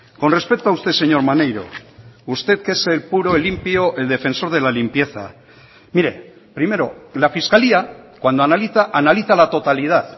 con respecto a usted señor maneiro usted que es el puro el limpio el defensor de la limpieza mire primero la fiscalía cuando analiza analiza la totalidad